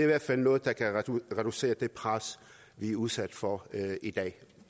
hvert fald noget der kan reducere det pres vi er udsat for i dag